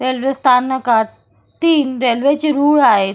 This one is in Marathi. रेल्वेस्थानकात तीन रेल्वेचे रूळ आहेत.